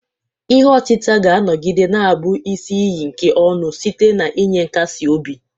Ihe otita ga-anọgide na-abụ isi iyi nke ọṅụ site n'inye nkasi obi.